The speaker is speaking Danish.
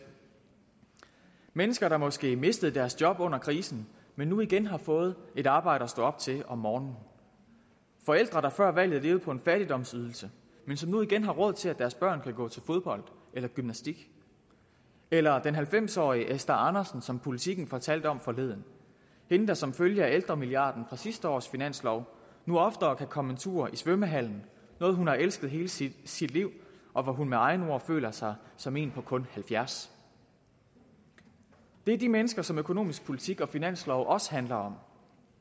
mennesker der måske mistede deres job under krisen men nu igen har fået et arbejde at stå op til om morgenen forældre der før valget levede på en fattigdomsydelse men som nu igen har råd til at deres børn kan gå til fodbold eller gymnastik eller den halvfems årige esther andersen som politiken fortalte om forleden hende der som følge af ældremilliarden fra sidste års finanslov nu oftere kan komme en tur i svømmehallen noget hun har elsket hele sit sit liv og hvor hun med egne ord føler sig som en på kun halvfjerds det er de mennesker som økonomisk politik og finanslov også handler om